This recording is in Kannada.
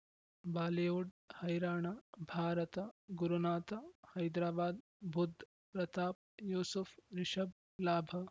ಬಾಲಿವುಡ್ ಹೈರಾಣ ಭಾರತ ಗುರುನಾಥ ಹೈದರಾಬಾದ್ ಬುಧ್ ಪ್ರತಾಪ್ ಯೂಸುಫ್ ರಿಷಬ್ ಲಾಭ